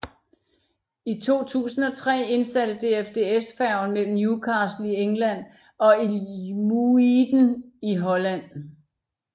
I 2003 indsatte DFDS færgen mellem Newcastle i England og IJmuiden i Holland